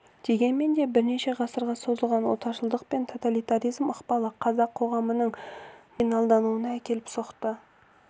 дегенмен де бірнеше ғасырға созылған отаршылдық пен тоталитаризм ықпалы қазақ қоғамының маргиналдануына әкеліп соқты